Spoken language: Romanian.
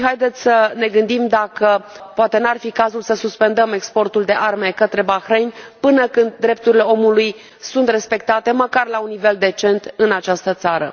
Să ne gândim dacă poate n ar fi cazul să suspendăm exportul de arme către Bahrain până când drepturile omului sunt respectate, măcar la un nivel decent, în această țară.